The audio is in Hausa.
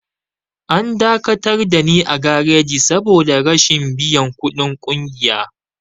An dakatar dani a gareji saboda rashin biyan ƙudin ƙungiya.